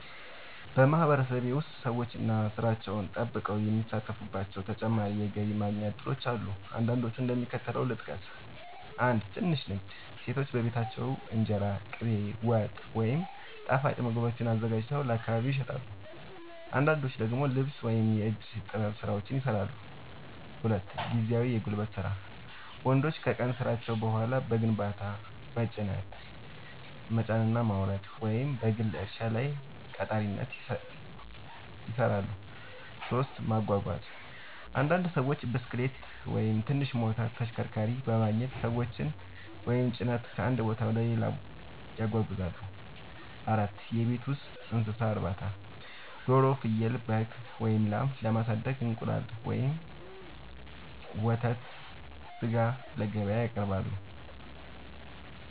በማህበረሰቤ ውስጥ ሰዎች ዋና ሥራቸውን ጠብቀው የሚሳተፉባቸው ተጨማሪ የገቢ ማስገኛ እድሎች አሉ። አንዳንዶቹን እንደሚከተለው ልጠቅስ፦ 1. ትንሽ ንግድ – ሴቶች በቤታቸው እንጀራ፣ ቅቤ፣ ወጥ ወይም ጣፋጭ ምግቦችን አዘጋጅተው ለአካባቢ ይሸጣሉ። አንዳንዶች ደግሞ ልብስ ወይም የእጅ ጥበብ ሥራዎችን ይሠራሉ። 2. ጊዜያዊ የጉልበት ሥራ – ወንዶች ከቀን ሥራቸው በኋላ በግንባታ፣ በጭነት መጫንና ማውረድ፣ ወይም በግል እርሻ ላይ ቀጣሪነት ይሠራሉ። 3. ማጓጓዝ – አንዳንድ ሰዎች ብስክሌት ወይም ትንሽ ሞተር ተሽከርካሪ በማግኘት ሰዎችን ወይም ጭነት ከአንድ ቦታ ወደ ሌላ ያጓጉዛሉ። 4. የቤት ውስጥ እንስሳት እርባታ – ዶሮ፣ ፍየል፣ በግ ወይም ላም በማሳደግ እንቁላል፣ ወተት ወይም ሥጋ ለገበያ ያቀርባሉ።